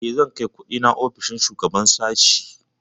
Eh, zan kai kundina ofishin shugaban sashi?